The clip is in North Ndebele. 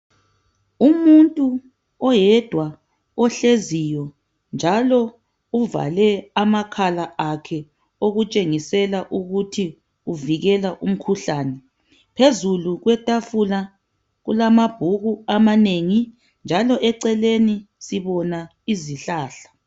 Umuntu oyedwa ohleziyo, njalo uvale amakhala akhe. Okutshengisela ukuthi uvikela umkhuhlane. Phezulu kwetafula, kulamabhuku amanengi, njalo eceleni sibona izihlahla.